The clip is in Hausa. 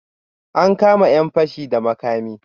An kama 'yan fashi da makami?